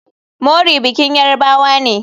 Mori bikin yarbawa ne.